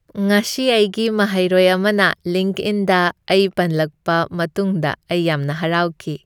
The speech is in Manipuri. ꯉꯁꯤ ꯑꯩꯒꯤ ꯃꯍꯩꯔꯣꯏ ꯑꯃꯅ ꯂꯤꯡꯛꯏꯟꯗ ꯑꯩ ꯄꯟꯂꯛꯄ ꯃꯇꯨꯡꯗ ꯑꯩ ꯌꯥꯝꯅ ꯍꯔꯥꯎꯈꯤ꯫